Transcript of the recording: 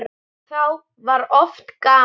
Þá var oft gaman.